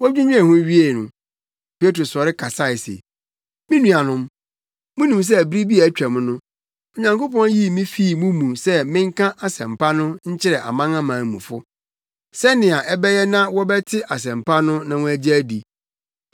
Wodwinnwen ho wiee no, Petro sɔre kasae se, “Me nuanom, munim sɛ bere bi a atwam no, Onyankopɔn yii me fii mo mu sɛ menka asɛmpa no nkyerɛ amanamanmufo, sɛnea ɛbɛyɛ na wɔbɛte asɛmpa no na wɔagye adi.